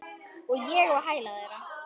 Og ég á hæla þeirra.